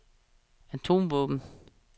atomvåben